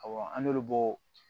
Awɔ an n'olu bɔ